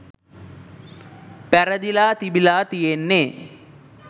පැරදිලා තිබිලා තියෙන්නේ.